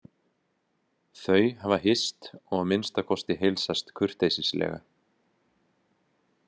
Þau hafa hist og að minnsta kosti heilsast kurteislega.